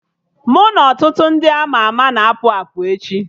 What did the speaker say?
Mụ na ọtụtụ ndị ama ama na-apụ apụ echi